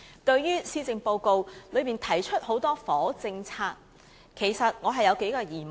對於施政報告提出的許多房屋政策，其實我有數項疑問。